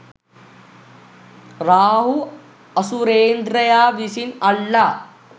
රාහු අසුරේන්ද්‍රයා විසින් අල්ලා